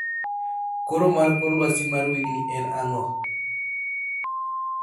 koro mar kor lwasi mar wigni en ang'o